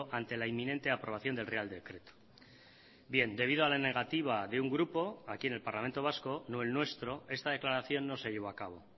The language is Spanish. ante la inminente aprobación del real decreto bien debido a la negativa de un grupo aquí en el parlamento vasco no el nuestro esta declaración no se llevó acabo